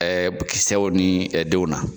Ɛɛ kisɛw ni denw na.